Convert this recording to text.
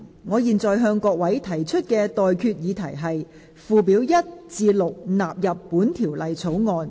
我現在向各位提出的待決議題是：附表1至6納入本條例草案。